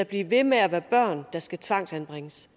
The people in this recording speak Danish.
blive ved med at være børn der skal tvangsanbringes